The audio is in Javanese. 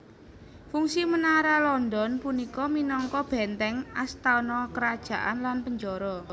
Fungsi Menara London punika minangka bèntèng astana kerajaan lan penjara